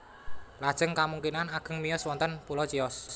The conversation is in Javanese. Lajeng kamungkinan ageng miyos wonten pulo Chios